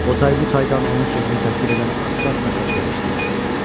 O tay bu taydan onun sözünü təsdiq edən asta-asta səslər eşidildi.